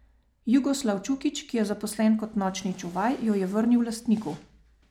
Jugoslav Čukić, ki je zaposlen kot nočni čuvaj, jo je vrnil lastniku.